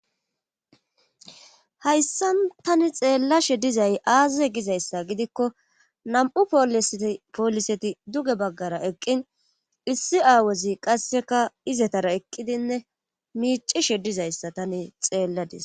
Hayssa tani xeellashe dizay aazaze gizayssa gidikko nam'u pooliseti duge baggara eqqin issi aawozi qasseka izetara eqqidinne miicishe dizayssa tani xeelladis.